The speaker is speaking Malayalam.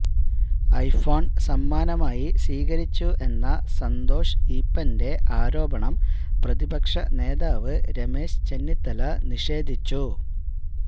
ഐഫോൺ സമ്മാനമായി സ്വീകരിച്ചു എന്ന സന്തോഷ് ഈപ്പന്റെ ആരോപണം പ്രതിപക്ഷ നേതാവ് രമേശ് ചെന്നിത്തല നിഷേധിച്ചു